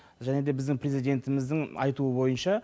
және де біздің президентіміздің айтуы бойынша